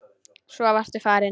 Svo varstu farinn.